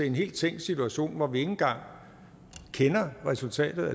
en helt tænkt situation hvor vi ikke engang kender resultatet